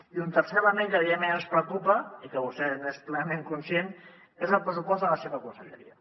i un tercer element que evidentment ens preocupa i que vostè n’és plenament conscient és el pressupost de la seva conselleria